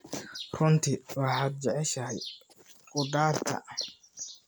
Runtii waxaad jeceshahay khudaarta.